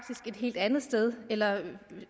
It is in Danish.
et helt andet sted eller at